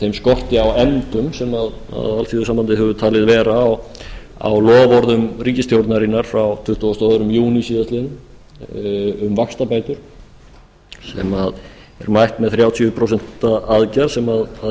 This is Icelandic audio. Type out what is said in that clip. þeim skorti á efndum sem alþýðusambandið hefur talið vera á loforðum ríkisstjórnarinnar frá tuttugasta og öðrum júní síðastliðinn um vaxtabætur sem er mætt með þrjátíu prósent aðgerð sem